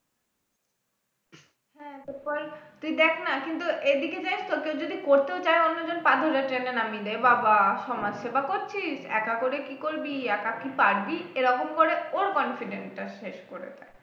হ্যাঁ তারপর তুই দেখ না কিন্তু এদিকে দেখ তোকে যদি করতেও চাই অন্যজন পা ধরে টেনে নামিয়ে দেয় বাবাঃ সমাজ সেবা করছিস একা করে কি করবি একা কি পারবি এরকম করে ওর confident টা শেষ করে দেয়